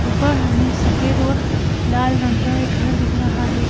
ऊपर हमें सफेद और लाल रंग का एक घर दिख रहा है।